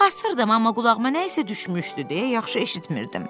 Qulaq asırdım, amma qulağıma nəsə düşmüşdü deyə yaxşı eşitmirdim.